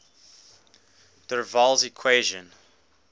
der waals equation